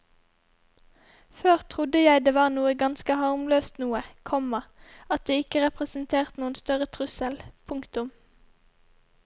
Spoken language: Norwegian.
Før trodde jeg det var noe ganske harmløst noe, komma at det ikke representerte noen større trussel. punktum